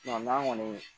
n'an kɔni